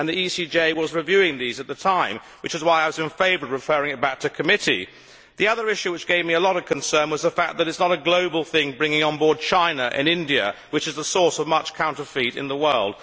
The ECJ was reviewing these at the time, which is why I was in favour of referring it back to committee. The other issue which gave me a lot of concern was the fact that it is not a global thing, bringing on board China and India which are the source of much counterfeit in the world.